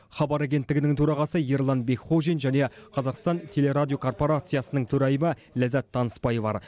хабар агенттігінің төрағасы ерлан бекхожин және қазақстан телерадиокорпорациясының төрайымы ләззат танысбай бар